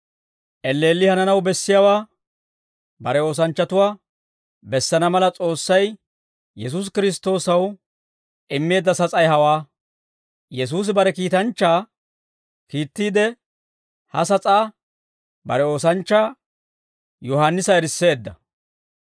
Elleelli hananaw bessiyaawaa bare oosanchchatuwaa bessana mala, S'oossay Yesuusi Kiristtoosaw immeedda sas'ay hawaa; Yesuusi bare kiitanchchaa kiittiide, ha sas'aa bare oosanchchaa Yohaannisa erisseedda.